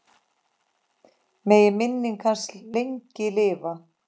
Megi minning hans lengi lifa.